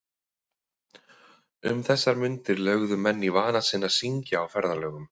Um þessar mundir lögðu menn í vana sinn að syngja á ferðalögum.